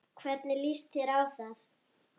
Hvernig líst þér á það?